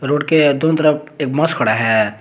Road के एक दो तरफ एक बस खड़ा है।